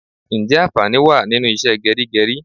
Ǹjẹ́ anfani wá nínú ìṣe geri geri?